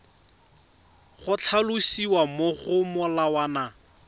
go tlhalosiwa mo go molawana